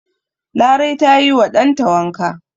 Larai ta yi wa dan ta wanka.